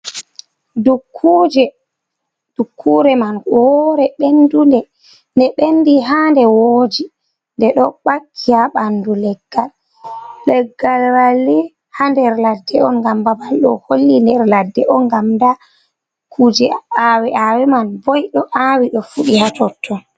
Dukkuje, dukkure man wore bendunde de bendi ha nde woji de do baki ha bandu leggal, leggal walli ha nder ladde on gam babal do holli nder ladde on gam da kuje awe’awe man bo do awi do fudi hatotton.